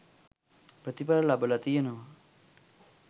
ප්‍රතිඵල ලබල තියෙනවා.